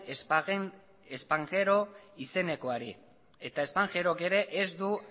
spanghero izenekoari eta spanghero ere ez du